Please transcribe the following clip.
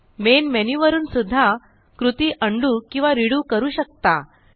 main menu वरून सुद्धा कृती उंडो किंवा रेडो करू शकता